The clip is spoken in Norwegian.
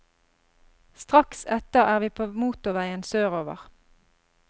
Straks etter er vi på motorveien sørover.